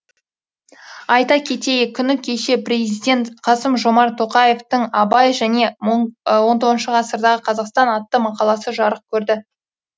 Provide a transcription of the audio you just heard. айта кетейік күні кеше президент қасым жомарт тоқаевтың абай және он тоғызыншы ғасырдағы қазақстан атты мақаласы жарық көрді